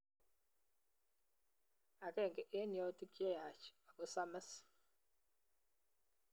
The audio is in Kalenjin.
Agenge eng yautik che yaach ako samis